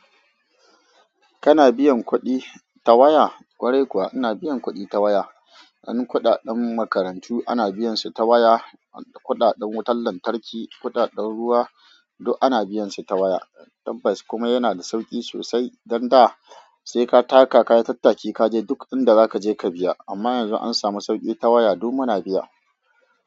Kana biyan kuɗi ta waya? Kwarai kuwa, ina biyan kuɗi ta waya. Ƙuɗaɗen makarantu ana biyan su ta waya, kuɗaɗen wutar lantarki, kuɗaɗen ruwa duk ana biyan su ta waya. Tabbas kuma yana da sauƙi sosai, dan da sai ka taka ka yi tattaki ka je duk inda za ka je ka biya. Amma yanzu an samu sauƙi ta waya duk muna biya.